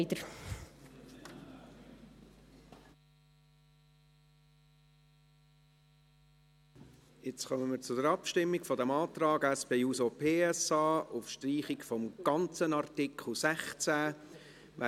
Wir kommen zur Abstimmung über den Antrag der SP-JUSO-PSA auf Streichung des ganzen Artikels 16.